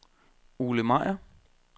Ole Meyer